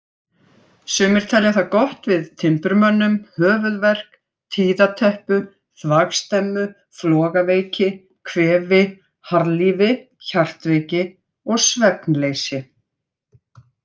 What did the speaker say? Sumir telja það gott við timburmönnum, höfuðverk, tíðateppu, þvagstemmu, flogaveiki, kvefi, harðlífi, hjartveiki og svefnleysi.